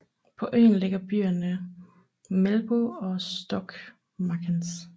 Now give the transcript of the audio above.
På øen ligger byerne Melbu og Stokmarknes